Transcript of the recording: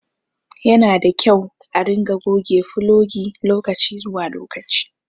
Yanada kyau a ringa goge fulogi lokaci zuwa lokaci